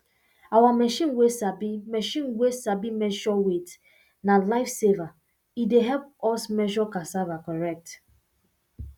our machine way sabi machine way sabi measure weight na lifesaver e dey help us measure cassava correct